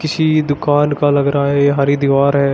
किसी दुकान का लग रहा है ये हरी दीवार है।